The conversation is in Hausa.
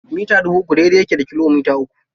Mita dubu uku daidai yake da kilomita uku.